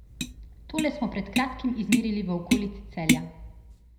Tole smo pred kratkim izmerili v okolici Celja.